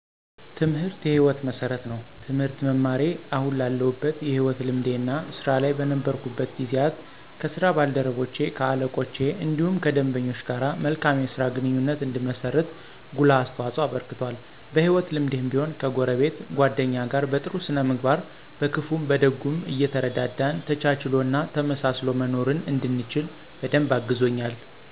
ትምህርት የ ህይወት መሠረት ነው። ትምህርት መማሬ አሁን ላለሁበት የህይወት ልምዴ እና ስራ ላይ በነበርኩበት ጊዜያት ከ ስራ ባልደረቼ ,ከ አለቆቼ እንዲሁም ከደንበኞች ጋር መልካም የስራ ግንኙነት እንድመሰርት ጉልህ አስተዋፅኦ አበርክቷል። በ ህይወት ልምዴም ቢሆን ከጎረቤት ,ጎደኛ ጋር በ ጥሩ ስነ ምግባር በክፉም በደጉም እየተረዳዳን ተቻችሎ እና ተመሳስሎ መኖርን እንድችል በደንብ አግዞኛል።